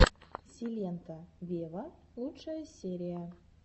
силенто вево лучшая серия